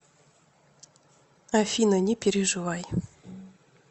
афина не переживай